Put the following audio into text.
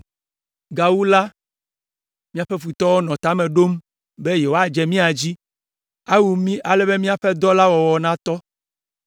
Gawu la, míaƒe futɔwo nɔ ta me ɖom be yewoadze mía dzi, awu mí ale be míaƒe dɔ la wɔwɔ natɔ.